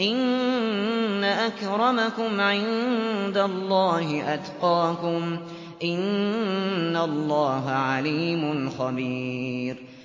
إِنَّ أَكْرَمَكُمْ عِندَ اللَّهِ أَتْقَاكُمْ ۚ إِنَّ اللَّهَ عَلِيمٌ خَبِيرٌ